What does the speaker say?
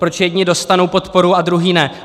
Proč jedni dostanou podporu a druzí ne?